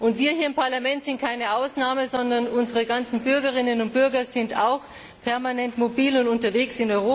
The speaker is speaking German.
Und wir hier im Parlament sind keine Ausnahme, sondern unsere Bürgerinnen und Bürger sind auch permanent mobil und in Europa unterwegs.